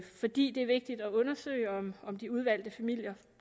fordi det er vigtigt at undersøge om om de udvalgte familier